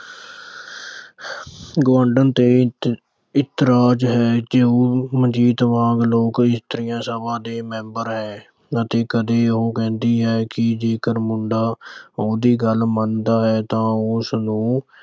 ਗੁਆਂਢਣ ਤੇ ਇਤਰਾਜ਼ ਹੈ ਕਿਉਂ ਉਹ ਮਨਜੀਤ ਵਾਂਗ ਲੋਕ ਇਸਤਰੀਆਂ ਸਭਾ ਦੀ member ਹੈ। ਕਦੇ-ਕਦੇ ਉਹ ਕਹਿੰਦੀ ਹੈ ਕਿ ਜੇ ਮੁੰਡਾ ਉਹਦੀ ਗੱਲ ਮੰਨਦਾ ਹੈ ਤਾਂ ਉਹ ਉਸਨੂੰ